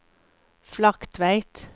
Flaktveit